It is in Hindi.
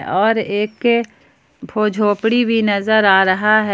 और एक भो झोपड़ी भी नजर आ रहा है।